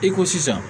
I ko sisan